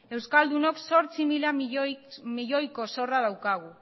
euskaldunok zortzi mila milioiko zorra daukagu